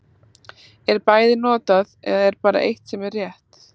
Er bæði notað, eða er bara eitt sem er rétt.